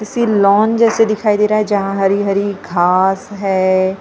किसी लॉन जैसे दिखाई दे रहा है जहाँ हरी हरी घास है साथ में --